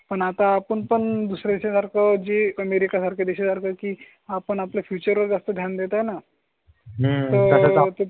पण आता आपण पण दुसर् याच्या सारखं जी अमेरिके सारखे देश झाला की आपण आपल्या फ्यूचर वर जास्त ध्यान आहे ना